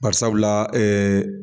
Barisabula